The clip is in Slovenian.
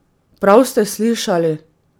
Prav ste slišali!